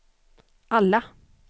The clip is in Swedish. alla